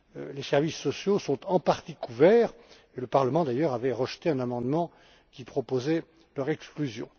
Les services sociaux sont en partie couverts, et le Parlement avait d'ailleurs rejeté un amendement qui proposait leur exclusion.